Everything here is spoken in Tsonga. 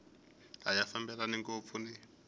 a ya fambelani ngopfu ni